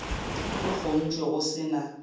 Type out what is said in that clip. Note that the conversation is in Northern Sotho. di kgontšwe go se na